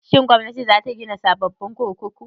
Shin Gwamnati za ta gina sababbin kurkuku?